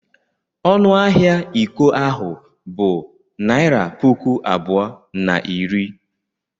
Ọnụ ahịa iko ahụ bụ naịra puku abụọ na iri.